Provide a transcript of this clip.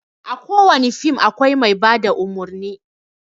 A ko wane fim akwai mai bada umurni.